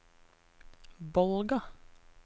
Bolga